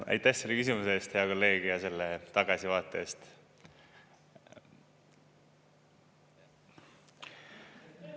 Aitäh selle küsimuse eest, hea kolleeg, ja selle tagasivaate eest!